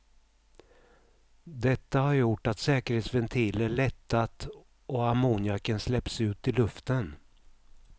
Detta har gjort att säkerhetsventiler lättat och ammoniaken släppts ut i luften.